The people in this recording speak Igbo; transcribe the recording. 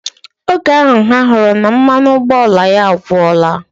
Oge ahu, ha huru na mmanụ ụgbọala ya agwora.